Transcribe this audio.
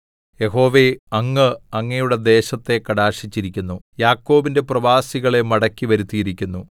യഹോവേ അങ്ങ് അങ്ങയുടെ ദേശത്തെ കടാക്ഷിച്ചിരിക്കുന്നു യാക്കോബിന്റെ പ്രവാസികളെ മടക്കി വരുത്തിയിരിക്കുന്നു